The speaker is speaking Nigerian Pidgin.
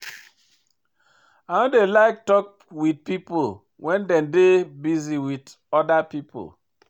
I no dey like tok wit pipo wen dem dey busy wit oda pipo.